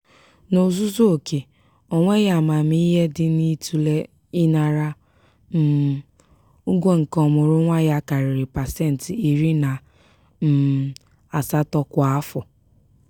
n'ozuzu oke onweghi amamihe dị n'ịtụle ịnara um ụgwọ nke ọmụrụnwa ya karịrị pasentị iri na um asatọ kwa afọ.